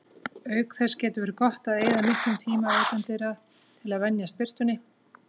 Auk þess getur verið gott að eyða miklum tíma utandyra til að venjast birtunni.